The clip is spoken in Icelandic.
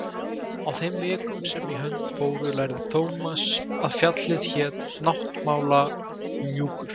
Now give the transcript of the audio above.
Á þeim vikum sem í hönd fóru lærði Thomas að fjallið hét Náttmálahnjúkur.